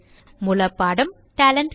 மூலப்பாடம் TalentSprint